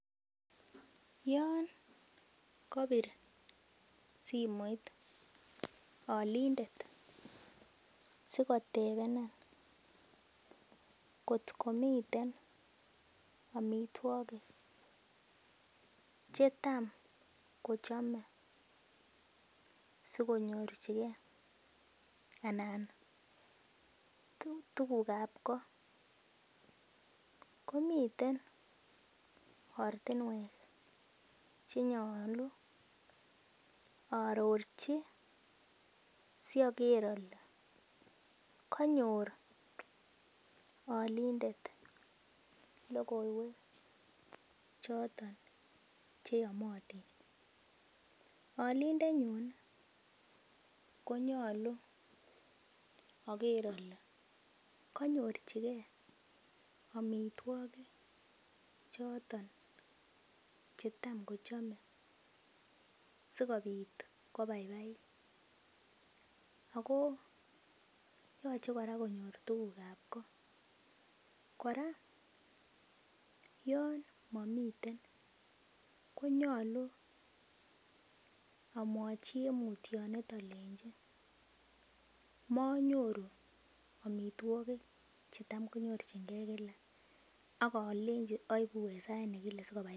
Yon kopir simoit olindet sikotepeni kotko miten omitwokik chetam kochome sikonyorchigee anan tukukab koo komiten ortinwek chenyolu ororchi soger ole konyor olindet lokoiwek choton chenyomotin. Olinde nyun konyolu oker ole konyorchigee omitwokik choton chetam kochome sikopit ko baibabit, Ako yoche koraa konyor tukukab koo .Koraa yon momiten konyolu omwochi en mutyonet olenji monyoru omitwokik chetam konyorchigee Kila akolenji oibu en sait nekile sikobaibaiet.